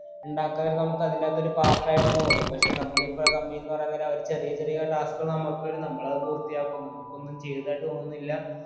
ഉണ്ടാക്കായിരുന്നു നമുക്ക് അതിന്റെ അകത്തൊരു part ആയിട്ടെന്നെ തോന്നും പക്ഷേ നമ്മളിപ്പോ company ന്ന് പറയാൻ നേരം അവര് ചെറിയ ചെറിയ task കൾ നമ്മക്ക് തരും നമ്മളത് പൂർത്തിയാക്കും നമുക്കൊന്നും ചെയ്തതായിട്ട് തോന്നുന്നില്ല